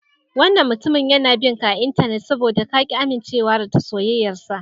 Wannan mutumin yana bin ka a Intanet saboda ka ƙi amincewa soyayyarsa.